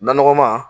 Naɔgɔnma